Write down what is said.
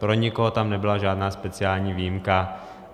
Pro nikoho tam nebyla žádná speciální výjimka.